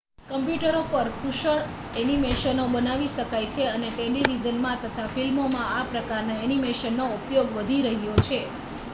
કમ્પ્યુટરો પર કુશળ ઍનિમેશનો બનાવી શકાય છે અને ટેલિવિઝનમાં તથા ફિલ્મોમાં આ પ્રકારના ઍનિમેશનનો ઉપયોગ વધી રહ્યો છે